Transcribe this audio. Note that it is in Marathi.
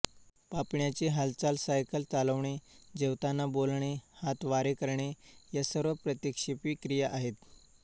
पापण्यांची हालचाल सायकल चालवणे जेवताना बोलणे हातवारे करणे या सर्व प्रतिक्षेपी क्रिया आहेत